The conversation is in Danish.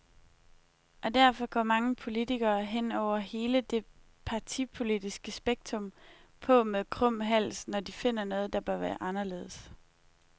Og derfor går mange politikere, hen over hele det partipolitiske spektrum, på med krum hals, når de finder noget, der bør være anderledes.